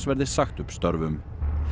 verði sagt upp störfum